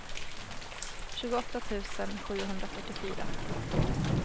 tjugoåtta tusen sjuhundrafyrtiofyra